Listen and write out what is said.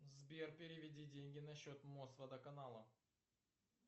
сбер переведи деньги на счет мосводоканала